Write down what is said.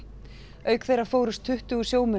auk þeirra fórust tuttugu sjómenn á